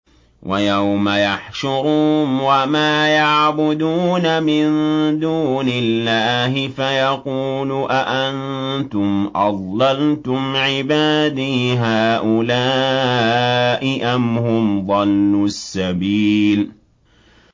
وَيَوْمَ يَحْشُرُهُمْ وَمَا يَعْبُدُونَ مِن دُونِ اللَّهِ فَيَقُولُ أَأَنتُمْ أَضْلَلْتُمْ عِبَادِي هَٰؤُلَاءِ أَمْ هُمْ ضَلُّوا السَّبِيلَ